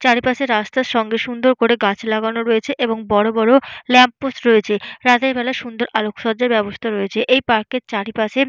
চারিপাশে রাস্তার সঙ্গে সুন্দর করে গাছ লাগানো রয়েছে। এবং বড় বড় ল্যাম্প পোস্ট রয়েছে। রাতের বেলা সুন্দর আলোক সজ্জার ব্যবস্থা রয়েছে। এই পার্ক -এর চারিপাশে--